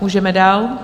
Můžeme dál.